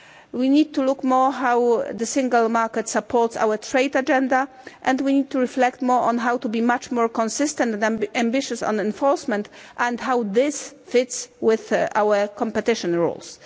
We need to look more at how the Single Market supports our trade agenda and we need to reflect more on how to be much more consistent and ambitious on enforcement and how this fits with our competition rules.